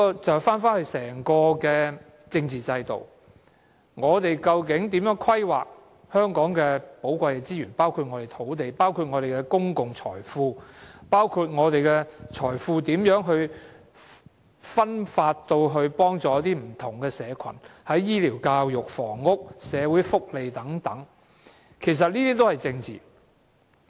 這便回到整個政治制度，我們究竟如何規劃香港的寶貴資源，包括土地、公共財富，如何把財富分發至不同社群，在醫療、教育、房屋和社會福利等，其實這些都是政治。